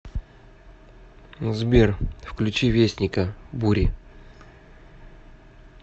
сбер включи вестника бури